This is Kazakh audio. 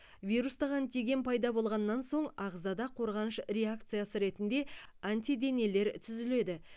вирустық антиген пайда болғаннан соң ағзада қорғаныш реакциясы ретінде антиденелер түзіледі